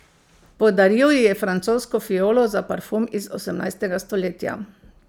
Podaril ji je francosko fiolo za parfum iz osemnajstega stoletja.